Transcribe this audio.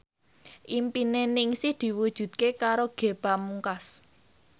impine Ningsih diwujudke karo Ge Pamungkas